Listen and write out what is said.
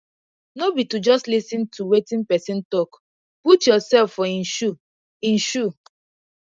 no be to just lis ten to wetin pesin talk put yourself for em shoe em shoe